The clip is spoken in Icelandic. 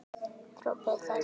hrópuðu þeir.